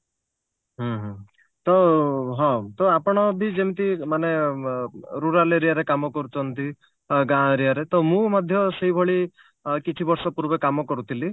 ହୁଁ ହୁଁ ତ ହଁ ତ ଆପଣ ବି ଯେମତି ମାନେ ଅ rural area ରେ କାମ କରୁଛନ୍ତି ଗାଁ area ରେ ତ ମୁଁ ମଧ୍ୟ ସେଇ ଭଳି ଅ କିଛି ବର୍ଷ ପୂର୍ବେ କାମ କରୁଥିଲି